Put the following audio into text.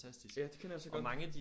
Ja det kender jeg altså godt